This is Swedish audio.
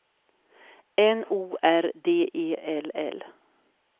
N O R D E L L